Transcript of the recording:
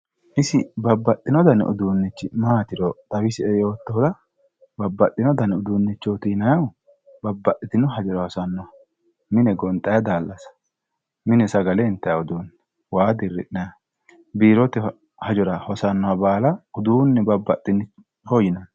Isi babbaxxino dani uduunnichi maatiro xawisie yoottohura babbaxxino dani uduunnichooti yinayihu babbaxxitino hajora hosanno mini gonxayi daallasa mine sagale intayi uduunnicho waa dirri'nanniha biirote hajora hosannoha baala babbaxxino uduunneeti yinanni.